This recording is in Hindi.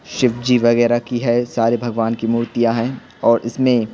शिव जी वैगेरा की है सारे भगवान की मूर्तियाँ हैं और इसमें --